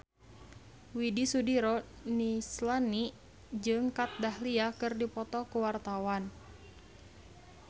Widy Soediro Nichlany jeung Kat Dahlia keur dipoto ku wartawan